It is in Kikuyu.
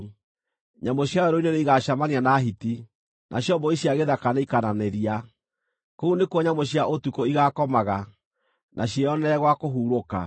Nyamũ cia werũ-inĩ nĩigacemania na hiti, nacio mbũri cia gĩthaka nĩikananĩria; kũu nĩkuo nyamũ cia ũtukũ igaakomaga, na ciĩyonere gwa kũhurũka.